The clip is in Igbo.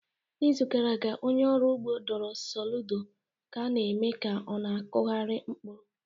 N'izu gara aga, onye ọrụ ugbo dụrụ Soludo ka ọ na-eme ka ọ na-akụgharị mkpụrụ